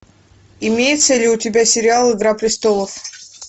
имеется ли у тебя сериал игра престолов